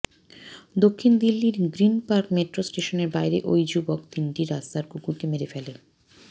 দক্ষিণ দিল্লির গ্রিন পার্ক মেট্রো স্টেশনের বাইরে ওই যুবক তিনটি রাস্তার কুকুরকে মেরে ফেলখ